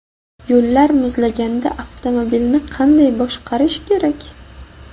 Yo‘llar muzlaganda avtomobilni qanday boshqarish kerak?.